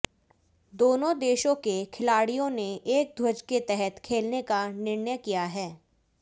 दोनों देशों के खिलाड़ियों ने एक ध्वज के तहत खेलने का निर्णय किया है